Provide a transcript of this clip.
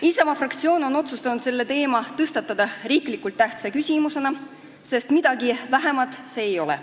Isamaa fraktsioon otsustas selle teema tõstatada riiklikult tähtsa küsimusena, sest midagi vähemat see ei ole.